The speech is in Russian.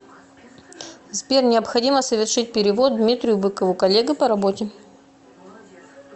сбер необходимо совершить перевод дмитрию быкову коллега по работе